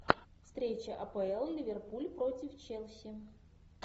встреча апл ливерпуль против челси